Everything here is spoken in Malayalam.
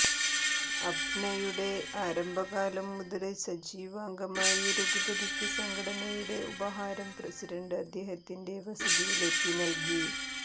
അപ്നയുടെ ആരംഭകാലം മുതല് സജീവ അംഗമായി രഘുപതിക്ക് സംഘടനയുടെ ഉപഹാരം പ്രസിഡന്റ് അദ്ദേഹത്തിന്റെ വസതിയിലെത്തി നല്കി